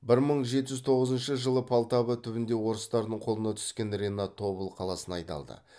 бір мың жеті жүз тоғызыншы жылы полтава түбінде орыстардың қолына түскен ренат тобыл қаласына айдалды